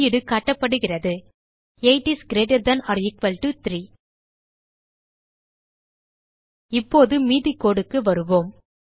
வெளியீடு காட்டப்படுகிறது 8 is greater than or equal to 3 இப்போது மீதி codeக்கு வருவோம்